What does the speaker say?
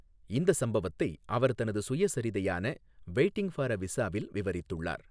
இந்த சம்பவத்தை அவர் தனது சுயசரிதையான வெய்ட்டிங் ஃபார் எ விசாவில் விவரித்துள்ளார்.